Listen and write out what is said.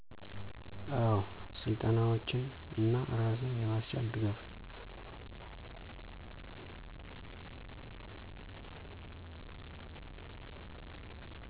አዎ! ስልጠናዎችን እና እራስን የማስቻል ድጋፍ።